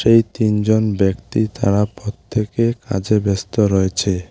এই তিনজন ব্যক্তি তারা প্রত্যেকে কাজে ব্যস্ত রয়েছে।